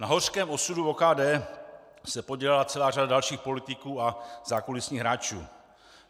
Na hořkém osudu OKD se podílela celá řada dalších politiků a zákulisních hráčů.